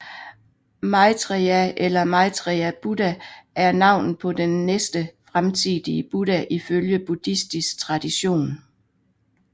Maitreya eller Maitreya Buddha er navnet på den næste fremtidige Buddha ifølge buddhistisk tradition